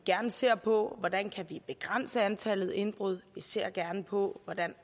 gerne ser på hvordan vi kan begrænse antallet af indbrud vi ser gerne på hvordan